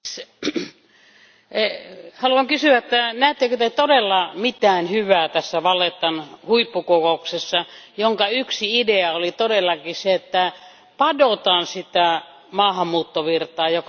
Haluan kysyä, että ettekö Te todella näe mitään hyvää tässä Vallettan huippukokouksessa, jonka yksi idea oli todellakin se, että padotaan sitä maahanmuuttovirtaa, joka suuntaa Eurooppaan?